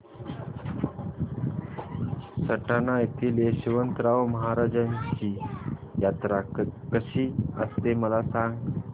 सटाणा येथील यशवंतराव महाराजांची यात्रा कशी असते मला सांग